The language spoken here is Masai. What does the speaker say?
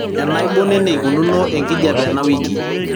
enaibon eneikununo enkijiape enawiki